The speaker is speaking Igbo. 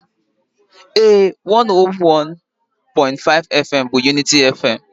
Ee,101.5FM bụ unity FM.